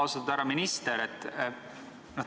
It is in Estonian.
Austatud härra minister!